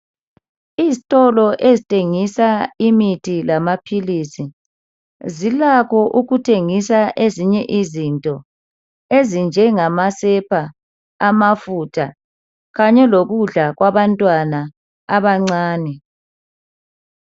Izitolo ezithengisa imithi lamaphilisi zilakho ukuthengisa ezinye izinto ezinjengamasepa, amafutha Kanye lokudla kwabantwana abancane.